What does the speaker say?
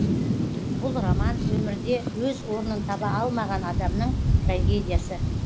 бұл роман өмірде өз орнын таба алмаған адамның трагедиясы